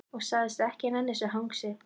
Og sagðist ekki nenna þessu hangsi.